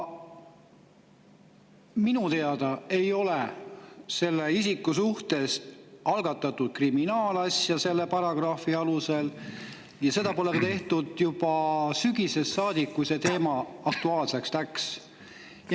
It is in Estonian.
Minu teada ei ole selle isiku suhtes algatatud kriminaalasja selle paragrahvi alusel, seda pole tehtud, kuigi juba sügisest saadik on see teema aktuaalne.